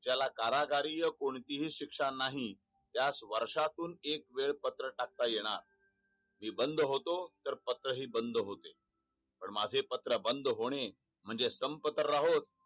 ज्याला कारागरीय कोणतीही शिक्षा नाही त्यास वर्षातून एक वेळ पत्र टाकता येणार मी बंद होतो तर पत्र हि बंद होते पण माझे पत्र बंद होणे म्हणजे संप तर राहोच